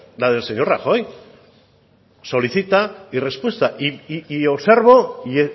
la del señor rajoy solicita y respuesta y observo y